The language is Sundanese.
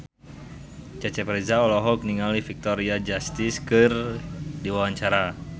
Cecep Reza olohok ningali Victoria Justice keur diwawancara